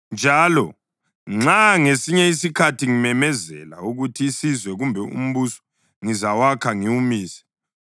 Njalo nxa ngesinye isikhathi ngimemezela ukuthi isizwe kumbe umbuso ngizawakha ngiwumise,